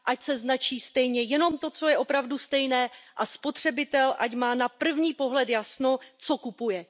Ať se značí stejně jenom to, co je opravdu stejné, a spotřebitel ať má na první pohled jasno, co kupuje.